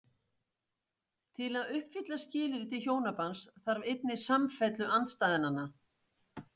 Til að uppfylla skilyrði til hjónabands þarf einnig samfellu andstæðnanna.